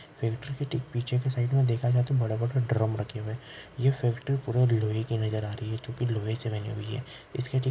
फैक्ट्री के ठीक पिछे के साइड में देखा जाए तो बड़े बड़े ड्रम रखे हुए है यह फैक्ट्री पूरी लोहे की नज़र आ रही है जो कि लोहे से बनी हुई है इसके ठीक --